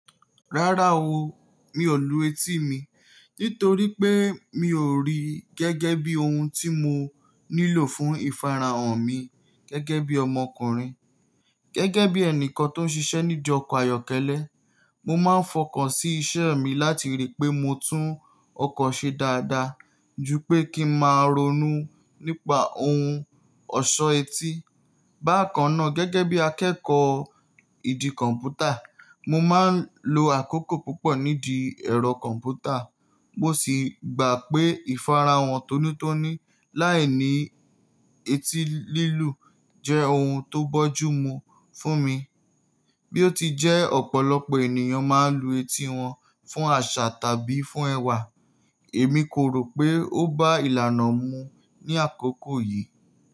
Rárá o, mi ò lu etí mi nítorí pé mi ò rí gẹ́gẹ́ bí ohun tí mo nílò fún ìfarahàn mi gẹ́gẹ́ bí ọmọkùnrin. Gẹ́gẹ́ bí ẹnìkan tó ń ṣiṣẹ́ nídi ayọ́kẹ́lẹ́, mo máa ń fọkàn sí iṣẹ́ mi láti rí pé mo tún ọkọ̀ ṣe dáadáa ju pé kí ń máa ronú nípa ohun ọ̀ṣọ́ etí. Bákan náà, gẹ́gẹ́ bí akẹ́kọ̀ọ́ ìdí kọ̀m̀pútà, mo máa ń lo àkókò púpọ̀ nídi ẹ̀rọ kọ̀m̀pútà, mo sì gbà pé ìfarahàn tónítóní láìní etí lílù jẹ́ ohun tó bójúmu fún mi. Bí ó ti jẹ́ ọ̀pọ̀lọpọ̀ ènìyàn máa ń lu etí wọn fún àṣà tàbí fún ẹwà, èmi kò rò pé ó bá ìlànà mu ní àkókò yìí.